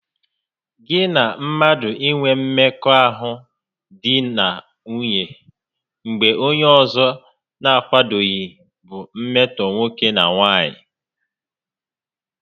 Gị na mmadụ inwe mmekọahụ di na nwunye mgbe onye ọzọ n'akwadoghị bụ mmetọ nwoke na nwaanyị